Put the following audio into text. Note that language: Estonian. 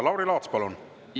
Lauri Laats, palun!